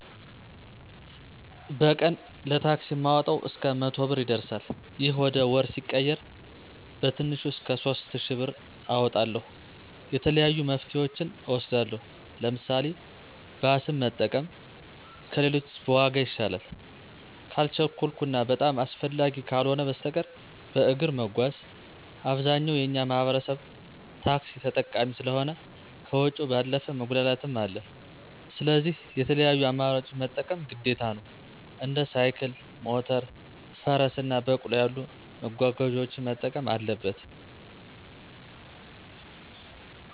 በቀን ለታክሲ ማወጣው እስከ መቶ ብር ይደርሳል። ይህ ወደ ወር ሲቀየር በትንሹ እስከ ሶስት እሽ ብር አወጣለሁ። የተለያዩ መፍትሄወችን እወስዳለሁ። ለምሳሌ፦ ባስን መጠቀም ከሌሎች በዋጋ ይሻላል። ካልቸኮልሁ እና በጣም አስፈላጊ ካልሆ በስተቀር በእግር መጓዝ። አብዛኛው የእኛ ማህበረሰብ ታክሲ ተጠቃሚ ስለሆ ከወጭው ባለፈ መጉላላትም አለ። ስለዚህ የተለያዩ አማራጮችን መጠቀም ግዴታ ነው። እንደ ሳይክል፣ ሞተር፣ ፈረስ እና በቅሎ ያሉ መጓጓዣወችን መጠቀም አለበት።